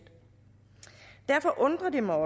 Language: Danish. derfor undrer det mig